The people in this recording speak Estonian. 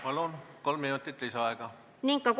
Palun, kolm minutit lisaaega!